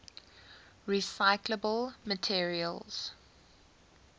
recyclable materials